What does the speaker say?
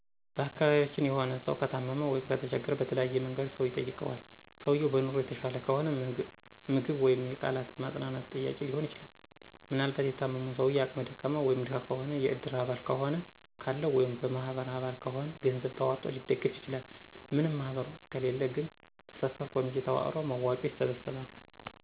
በአካቢያችን የሆነ ስው ከታመመ/ከተቸገረ በተለያየ መንገድ ሰው ይጠይቀዋል። ሰውየው በኑሮ የተሻለ ከሆነ ምግብ ወይም የቃላት የማፅነናናት ጥያቄ ሊሆን ይችላል። ምናልባት የታመመው ሰው አቅመ ደካማ (ደሀ) ከሆነ የእድር አባል ከሆነ ካለው ወይም የበማህበር አባል ከሆነ ገንዘብ ተዋጥቶ ሊደገፍ ይችላል። ምንም ማህበር ውስጥ ከሌለ ግን በሰፈር ኮሚቴ ተዋቅሮ መዋጮ ይሰበሰባል።